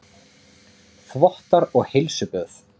Þvottar og heilsuböð